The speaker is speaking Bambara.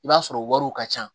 I b'a sɔrɔ wariw ka ca